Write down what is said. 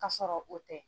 K'a sɔrɔ o tɛ